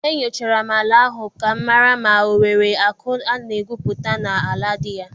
E nyochara m ala ahụ ka m mara ma ọ nwere akụ a na-egwupụta na - ala dị ya.